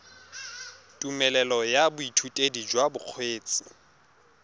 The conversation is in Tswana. tumelelo ya boithutedi jwa bokgweetsi